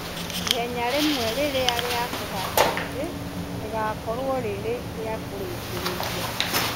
ihenya rĩmwe, rĩrĩa nĩ kũhanda mĩtĩ, rĩgakorũo rĩrĩ rĩkĩrĩkĩrĩria.